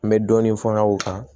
N bɛ dɔɔnin fɔ n ka o kan